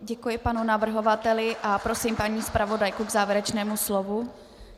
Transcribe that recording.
Děkuji panu navrhovateli a prosím paní zpravodajku k závěrečnému slovu.